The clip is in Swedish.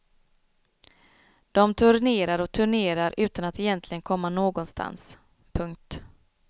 De turnerar och turnerar utan att egentligen komma någonstans. punkt